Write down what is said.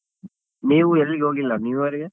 ನೀವ್ ಎಲ್ಲಿ ಹೋಗಿಲ್ಲ newyear ಗೆ?